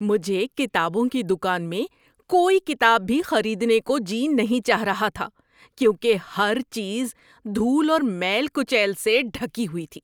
مجھے کتابوں کی دکان میں کوئی کتاب بھی خریدنے کو جی نہیں چاہ رہا تھا کیونکہ ہر چیز دھول اور میل کچیل سے ڈھکی ہوئی تھی۔